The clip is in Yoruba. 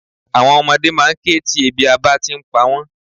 Àwon ọmọdé máa n ké ti ebi abá ti n pa wón